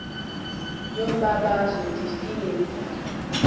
yombabazo ndifile yindlala